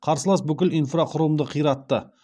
қарсылас бүкіл инфрақұрылымды қиратты